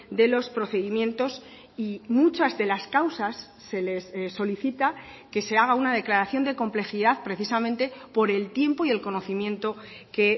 de los procedimientos y muchas de las causas se les solicita que se haga una declaración de complejidad precisamente por el tiempo y el conocimiento que